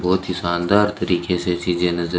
बहोत ही शानदार तरीके से चीजे नजर--